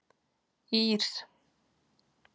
Ír